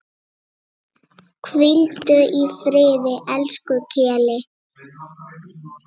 Hvíldu í friði, elsku Keli.